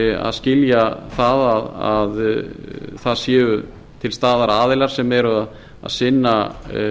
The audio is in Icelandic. að skilja að það séu til staðar aðilar sem eru að sinna